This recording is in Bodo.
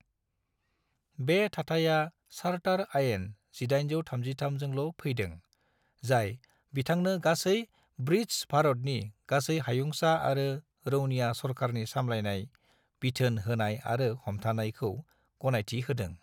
बे थाथाइया चार्टर आयेन 1833 जोंल' फैदों, जाय बिथांनो गासै ब्रिटस भारतनि "गासै हायूंसा आरो रौनिया सरखारनि सामलायनाय, बिथोन होनाय आरो हमथानाय" खौ गनायथि होदों।